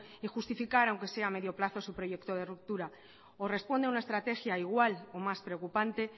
y justificar aunque sea a medio plazo su proyecto de ruptura o responde a una estrategia igual o más preocupante